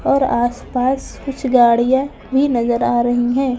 और आसपास कुछ गाड़ियाँ भी नजर आ रही हैं ।